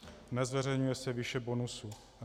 Nezveřejňuje se výše bonusů.